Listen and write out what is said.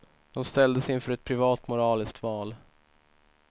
De ställdes inför ett privat moraliskt val.